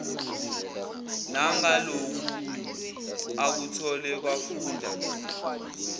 nangaloku akuthole kwafunda